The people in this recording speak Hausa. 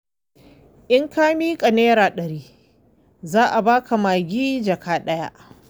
In ka miƙa Naira ɗari za a ba ka magi jaka ɗaya.